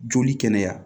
Joli kɛnɛya